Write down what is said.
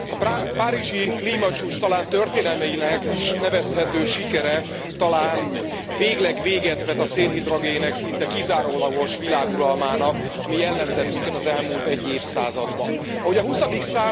A párizsi klímacsúcs talán történelminek is nevezhető sikere talán végleg véget vet a szénhidrogének szinte kizárólagos világuralmának, ami jellemzett minket az elmúlt egy évszázadban. Ahogy a XX.